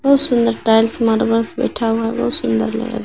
बहुत सुंदर tiles marble बैठा हुआ बहुत सुंदर लग रहा--